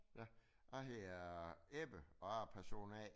Jeg hedder Ebbe og er person A